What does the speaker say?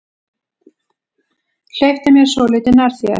Hleyptu mér svolítið nær þér.